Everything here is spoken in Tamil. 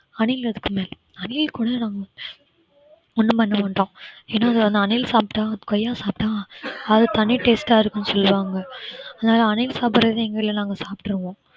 அணில் அதுக்குமேல அணில் கூட நாங்க ஒண்ணும் பண்ணமாட்டோம் ஏன்னா அது வந்து அணில சாப்பிட்டா கொய்யா சாப்பிட்டா அது தனி taste ஆ இருக்கும்னு சொல்லுவாங்க அதனால அணில் சாப்பிடுறது எங்க வீட்டில் நாங்க சாப்பிடுவோம்